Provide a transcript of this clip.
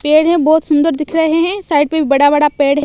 पेड़ है बहोत सुंदर दिख रहे है साइड पे बड़ा बड़ा पेड़--